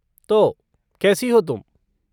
तो, कैसी हो तुम?